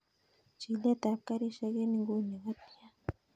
Chilet ab garishek en inguni kotian